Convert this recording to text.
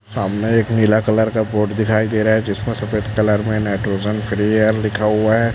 सामने एक नीला कलर का बोट दिखाई दे रहा है जिसमें सफेद कलर में नाइट्रोजन फ्री एयर लिखा हुआ है।